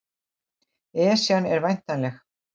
Esjan var væntanleg